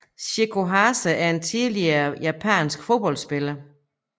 Chieko Hase er en tidligere japansk fodboldspiller